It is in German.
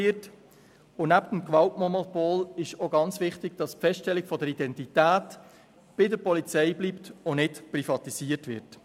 Neben dem Gewaltmonopol ist es auch sehr wichtig, dass die Feststellung der Identität bei der Polizei bleibt und nicht privatisiert wird.